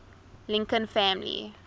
lincoln family